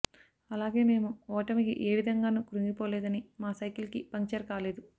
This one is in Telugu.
అలాగే మేము ఓటమికి ఏ విధంగానూ కృంగిపోలేదని మా సైకిల్ కి పంక్చర్ కాలేదు